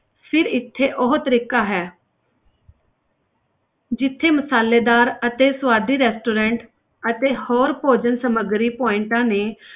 ਫਿਰ ਇੱਥੇ ਉਹ ਤਰੀਕਾ ਹੈ ਜਿੱਥੇ ਮਸਾਲੇਦਾਰ ਅਤੇ ਸਵਾਦੀ restaurant ਅਤੇ ਹੋਰ ਭੋਜਨ ਸਮੱਗਰੀ points ਨੇ,